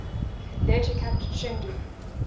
later captured chengdu